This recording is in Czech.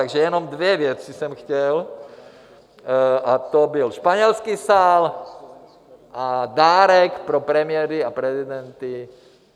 Takže jenom dvě věci jsem chtěl, a to byl Španělský sál a dárek pro premiéry a prezidenty.